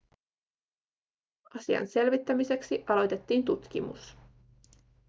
asian selvittämiseksi aloitettiin tutkimus